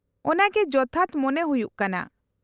-ᱚᱱᱟᱜᱮ ᱡᱚᱛᱷᱟᱛ ᱢᱚᱱᱮ ᱦᱩᱭᱩᱜ ᱠᱟᱱᱟ ᱾